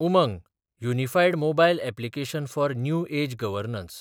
Umang – unified mobile application for new age governance